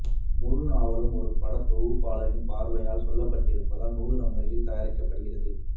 முழு நாவலும் ஒரு படத்தொகுப்பாளரின் பார்வையால் சொல்லப்பட்டிருப்பதால் நூதன முறையில் தயாரிக்கப்பட்டிருக்கிறது